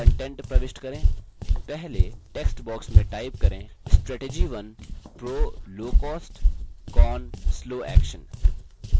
पहले text box में type करें : strategy 1 pro: low cost con: slow action